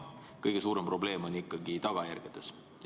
Kõige suurem probleem on ikkagi tagajärgedes.